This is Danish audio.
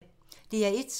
DR1